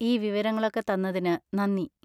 ഈ വിവരങ്ങളൊക്കെ തന്നതിന് നന്ദി.